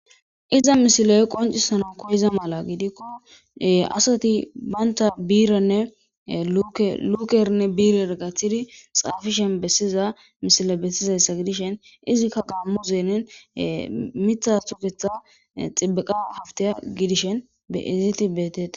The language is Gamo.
Iza misiloy qoncisana koyiza mala gidikko asati baynta biiranne lukernne biirer gaththidi xaafishen bessiza misile bessizayssa gidishen izikka qaammu zeenen mitha suketha xibiqa hafteya gidishen be eziti beetete.